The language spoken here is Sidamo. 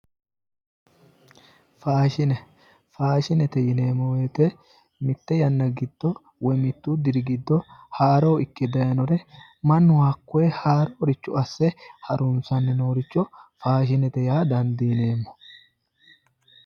Faashine, faashinete yineemmo woyte mitte yanna giddo woy mittu diri giddo haaro ikke dayiinore mannu hakkoye haaroricho asse harunsanni nooricho faashinete yaa dandiineemmo.